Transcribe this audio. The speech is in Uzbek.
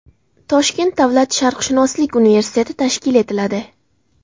Toshkent davlat sharqshunoslik universiteti tashkil etiladi.